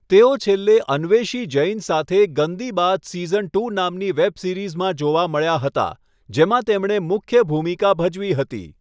તેઓ છેલ્લે અન્વેષી જૈન સાથે 'Gandi Baat' season two web વેબ સિરીઝમાં જોવા મળ્યાં હતાં, જેમાં તેમણે મુખ્ય ભૂમિકા ભજવી હતી.